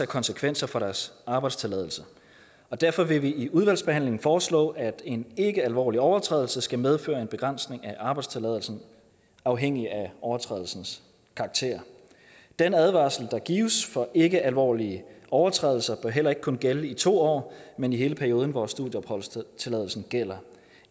konsekvenser for deres arbejdstilladelse derfor vil vi i udvalgsbehandlingen foreslå at en ikkealvorlig overtrædelse skal medføre en begrænsning af arbejdstilladelsen afhængig af overtrædelsens karakter den advarsel der gives for ikkealvorlige overtrædelser bør heller ikke kun gælde i to år men i hele perioden hvor studieopholdstilladelsen gælder